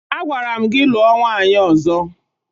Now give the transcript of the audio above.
Agwara m gị lụọ nwaanyị ọzọ!